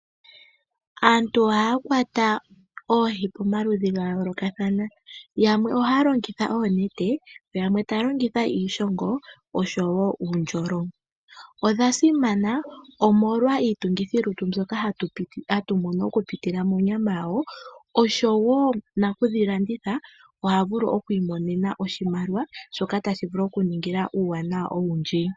Aantu ohaya kwata oohi pomaludhi ga yoolokathana yamwe ohaya longitha oonete, yamwe taya longitha iishongo nuundjolo. Odha simana omolwa iitungithi lutu mbyoka hatu mono okupitila monyama yawo na nakudhilanditha ohavulu oku imonena oshimaliwa shoka tashi vulu okumuningila uuwanawa owundji.